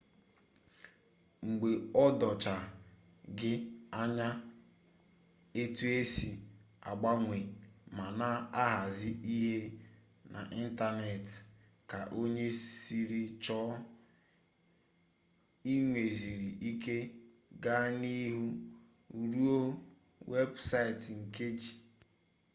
mgbe o dochaa gị anya etu e si agbanwe ma na-ahazi ihe n'ịntanetị ka onye siri chọọ i nweziri ike gaa n'ihu rụọ weebụsaịtị nke gị